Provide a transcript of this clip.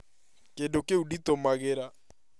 Kĩndũ kĩu nditũmagĩra